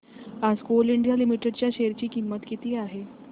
आज Coal India Limited च्या share ची किंमत किती आहे